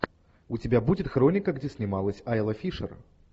у тебя будет хроника где снималась айла фишер